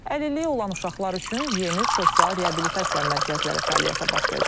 Əlilliyi olan uşaqlar üçün yeni sosial reabilitasiya mərkəzləri fəaliyyətə başlayacaq.